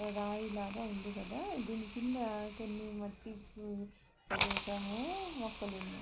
రాయి లాగా ఉంది కదా దీని కింద కొన్ని మట్టి ప్రదేశము మొక్కలున్నాయి.